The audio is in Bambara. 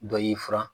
Dɔ y'i furan